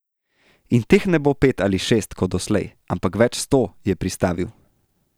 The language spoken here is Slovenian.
In teh ne bo pet ali šest, kot doslej, ampak več sto, je pristavil.